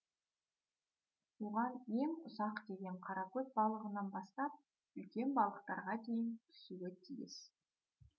оған ең ұсақ деген қаракөз балығынан бастап үлкен балықтарға дейін түсуі тиіс